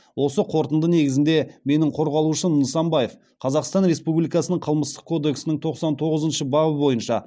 осы қорытынды негізінде менің қорғалушым нысанбаев қазақстан республикасының қылмыстық кодексінің тоқсан тоғызыншы бабы бойынша